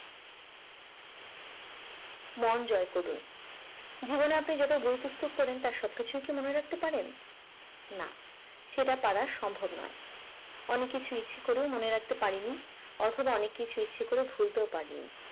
মন জয় করুন জীবনে আপনি যত বই পুস্তক পড়েন তার সবকিছুই কি মনে রাখতে পারেন না সেটা পারার সম্ভব নয় অনেক কিছুই ইচ্ছে করে মনে রাখতে পারেনি অথবা অনেক কিছুই ইচ্ছে করে ভুলতেও পারিনি